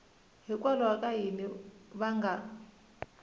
hikwalaho ka yini va nga